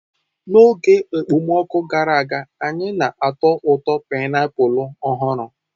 N'oge okpomọkụ gara aga, anyị na-atọ ụtọ painiapulu ọhụrụ.